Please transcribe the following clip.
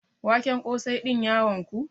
Waken ƙosai din ya wanku?